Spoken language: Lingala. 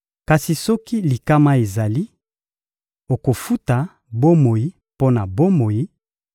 Kasi soki likama ezali, okofuta bomoi mpo na bomoi: